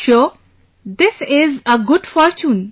For sure, this is our good fortune